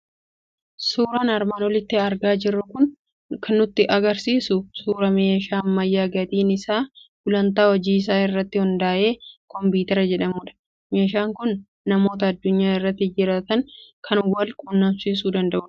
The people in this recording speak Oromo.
Suyraan armaan olitti argaa jirru kan nutti argisiisu suuraa meeshaa ammayyaa gatiin isaa gulantaa hojii isaa irratti hundaa'e Kompiitara jedhamudha. Meshaan kun namoota addunyaa irra jiraatan kan wal qunnamsiisuu danda'udha.